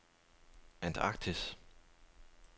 Antarktis